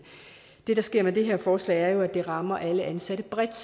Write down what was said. det der sker med det her forslag er jo at det rammer alle indsatte bredt